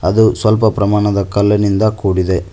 ಅದು ಸ್ವಲ್ಪ ಪ್ರಮಾಣದ ಕಲ್ಲಿನಿಂದ ಕೂಡಿದೆ.